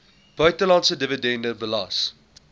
buitelandse dividende belas